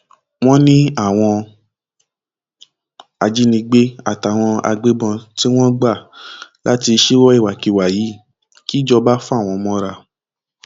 wọn ní àwọn ajínigbé àtàwọn agbébọn tí wọn gbà láti ṣíwọ ìwàkiwà yìí kìjọba fà wọn mọra